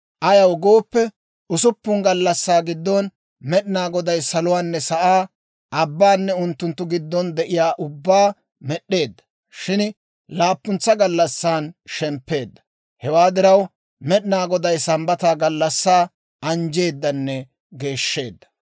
Ayaw gooppe, usuppun gallassaa giddon Med'inaa Goday saluwaanne, sa'aa, abbaanne unttunttu giddon de'iyaa ubbaa med'd'eedda; shin laappuntsa gallassan shemppeedda. Hewaa diraw, Med'inaa Goday Sambbata gallassaa anjjeedanne geeshsheedda.